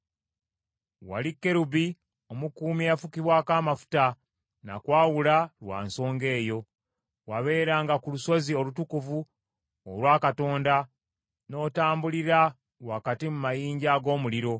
Wali kerubi omukuumi eyafukibwako amafuta, nakwawula lwa nsonga eyo. Wabeeranga ku lusozi olutukuvu olwa Katonda, n’otambulira wakati mu mayinja ag’omuliro.